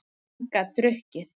Hann gat drukkið.